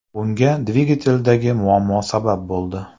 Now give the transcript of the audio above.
Bunga dvigateldagi muammo sabab bo‘ldi.